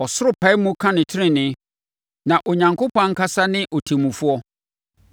Ɔsoro pae mu ka ne tenenee, na Onyankopɔn ankasa ne ɔtemmufoɔ.